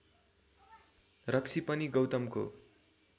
रक्सी पनि गौतमको